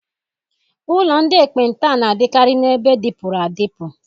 Ụlọ ndị ekpenta na-adịkarị n'ebe dịpụrụ adịpụ.